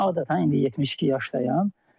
Mən adətən, indi 72 yaşdayam.